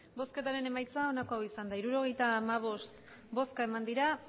emandako botoak hirurogeita hamabost bai